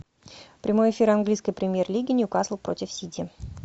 прямой эфир английской премьер лиги ньюкасл против сити